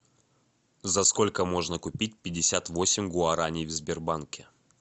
за сколько можно купить пятьдесят восемь гуарани в сбербанке